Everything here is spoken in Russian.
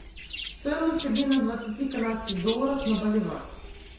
стоимость обмена двадцати канадских долларов на боливар